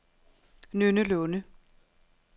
Nynne Lunde